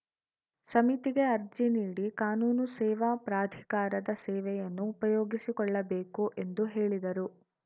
ಸಮಿತಿಗೆ ಅರ್ಜಿ ನೀಡಿ ಕಾನೂನು ಸೇವಾ ಪ್ರಾಧಿಕಾರದ ಸೇವೆಯನ್ನು ಉಪಯೋಗಿಸಿಕೊಳ್ಳಬೇಕು ಎಂದು ಹೇಳಿದರು